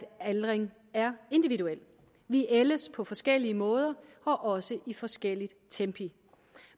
aldring er individuelt vi ældes på forskellige måder og også i forskellige tempi